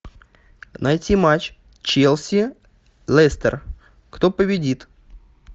найти матч челси лестер кто победит